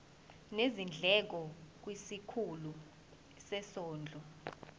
nezindleko kwisikhulu sezondlo